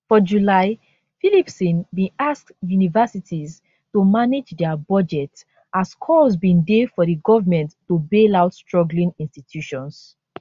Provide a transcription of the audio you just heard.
for july phillipson bin ask universities to manage dia budgets as calls bin dey for di government to bail out struggling institutions